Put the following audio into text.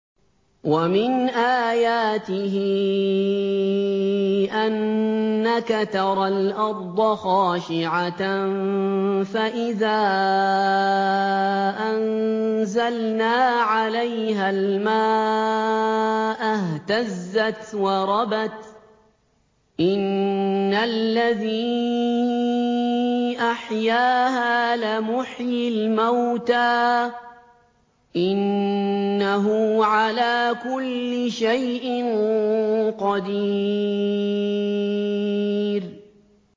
وَمِنْ آيَاتِهِ أَنَّكَ تَرَى الْأَرْضَ خَاشِعَةً فَإِذَا أَنزَلْنَا عَلَيْهَا الْمَاءَ اهْتَزَّتْ وَرَبَتْ ۚ إِنَّ الَّذِي أَحْيَاهَا لَمُحْيِي الْمَوْتَىٰ ۚ إِنَّهُ عَلَىٰ كُلِّ شَيْءٍ قَدِيرٌ